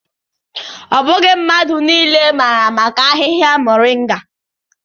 Not everyone knows about moringa leaves.